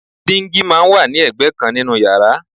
Díngí máa ń wà ní ẹgbẹ́ kan nínú yàrá